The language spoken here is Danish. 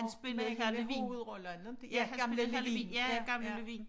Han spillede Hr. Levin ja gamle Levin ja gamle Levin